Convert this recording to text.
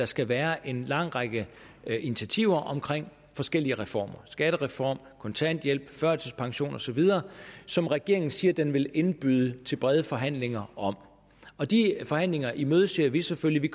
skal være en lang række initiativer omkring forskellige reformer skattereform kontanthjælp førtidspension osv som regeringen siger den vil indbyde til brede forhandlinger om og de forhandlinger imødeser vi selvfølgelig